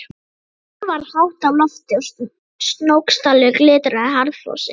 Sól var hátt á lofti og Snóksdalur glitraði harðfrosinn.